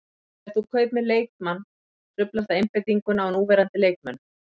Þegar þú kaupir leikmann truflar það einbeitinguna á núverandi leikmönnum.